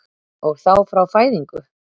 Og þá frá fæðingu?